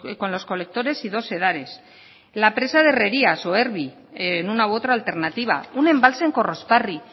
con los colectores y dos sedares la presa de herrerías o erbi en una u otra alternativa un embalse en korrosparri